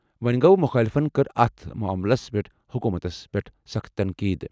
وۄنۍ گوٚو، مخٲلِفَن کٔر اَتھ معاملَس پٮ۪ٹھ حکوٗمتَس پٮ۪ٹھ سخٕت تنقید ۔